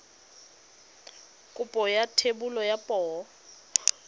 kopo ya thebolo ya poo